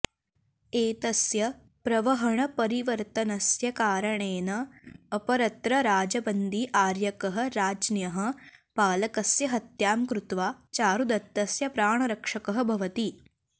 एतस्य प्रवहणपरिवर्तनस्य कारणेन अपरत्र राजबन्दी आर्यकः राज्ञः पालकस्य हत्यां कृत्वा चारुदत्तस्य प्राणरक्षकः भवति